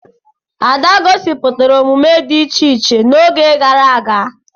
Ada gosipụtara omume dị iche iche oge gara aga.